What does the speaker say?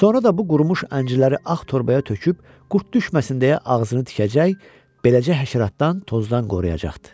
Sonra da bu qurumuş əncirləri ağ torbaya töküb, qurd düşməsin deyə ağzını tikəcək, beləcə həşəratdan, tozdan qoruyacaqdı.